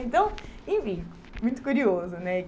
Então enfim, muito curioso né.